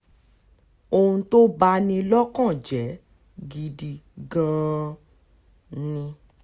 ohun tó bá ní lọ́kàn jẹ́ gidi gan-an ni